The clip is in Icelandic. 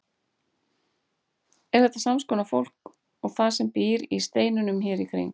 Er þetta sams konar fólk og það sem býr í steinunum hér í kring?